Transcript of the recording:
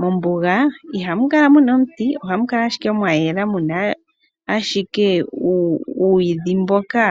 Mombuga ihamu kala omiti, ohamu kala ashike mwayela muna ashike uuyidhi mboka